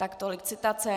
Tolik citace.